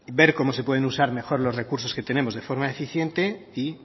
ver cómo se pueden usar mejor los recursos que tenemos de forma eficiente y